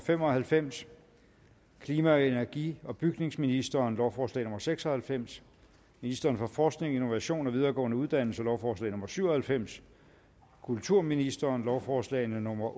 fem og halvfems klima energi og bygningsministeren lovforslag nummer l seks og halvfems ministeren for forskning innovation og videregående uddannelser lovforslag nummer l syv og halvfems kulturministeren lovforslag nummer